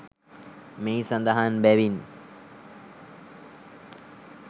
මෙහි සඳහන් බැවින්